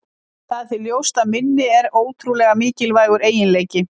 Það er því ljóst að minni er ótrúlega mikilvægur eiginleiki.